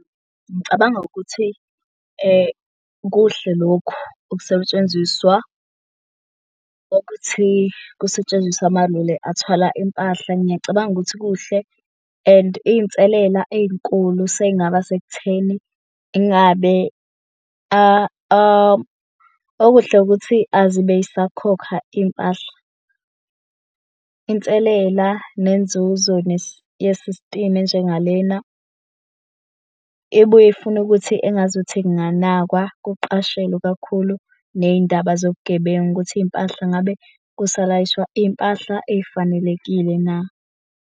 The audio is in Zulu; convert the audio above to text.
Ngicabanga ukuthi kuhle lokhu ukusentshenziswa ukuthi kusetshenziswe amaloli athwala impahla. Ngiyacabanga ukuthi kuhle and iy'nselela ey'nkulu sekungaba sekutheni ingabe okuhle ukuthi azibe yisakhokha iy'mpahla inselela nenzuzo yesistimu enjengalena. Ibuye ifune ukuthi engazuthi kunganakwa kuqashelwe kakhulu ney'ndaba zobugebengu ukuthi iy'mpahla ngabe kusalayishwa iy'mpahla ey'fanelekile na.